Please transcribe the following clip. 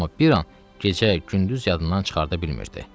Amma bir an gecəni-gündüzü yadından çıxarda bilmirdi.